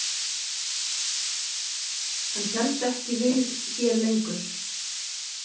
Hann hélst ekki við hér lengur.